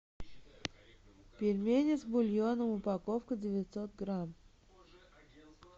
пельмени с бульоном упаковка девятьсот грамм